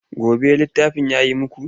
Kwaba ɗin littafin ya yi muku?